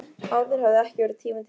Áður hafði ekki verið tími til þess.